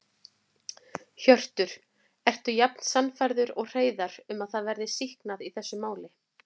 Hjörtur: Ertu jafn sannfærður og Hreiðar um að það verði sýknað í þessu máli?